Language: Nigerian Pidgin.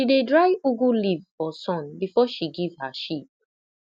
she dey dry ugu leaf for sun before she give her sheep